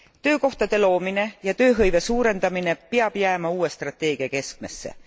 Töökohtade loomine ja tööhõive suurendamine peab jääma uue strateegia keskmesse.